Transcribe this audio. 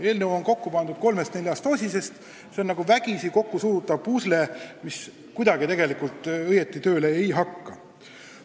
Eelnõu on kokku pandud kolmest-neljast osisest, aga see on nagu vägisi kokku surutav pusle, mis kuidagi õieti tööle ei hakka.